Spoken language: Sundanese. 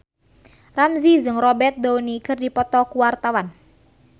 Ramzy jeung Robert Downey keur dipoto ku wartawan